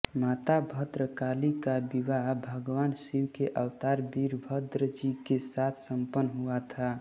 माता भद्रकाली का विवाह भगवान शिव के अवतार वीरभद्र जी के साथ सम्पन्न हुआ था